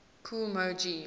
kool moe dee